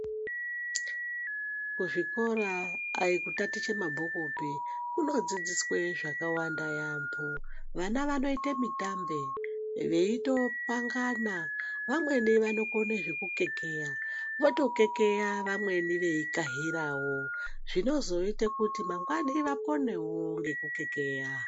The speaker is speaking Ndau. Kuzvikora dai kutatiche mabhukupi kunodzidziswe zvakawanda yaambo, vana vanoita mitambe veitopangana. Vamweni vanokone zvekukekeya vanotokekeya vamweni veikahiravo. Zvinozoite kuti mangwani vakonavo kukekeya.